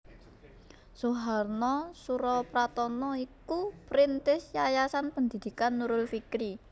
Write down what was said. Suharna Surapranata iku perintis Yayasan Pendidikan Nurul Fikri